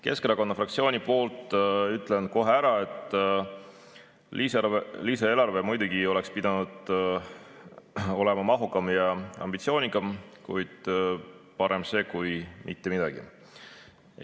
Keskerakonna fraktsiooni poolt ütlen kohe ära, et lisaeelarve oleks muidugi pidanud olema mahukam ja ambitsioonikam, kuid parem see kui mitte midagi.